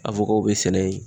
Awokaw be sɛnɛ yen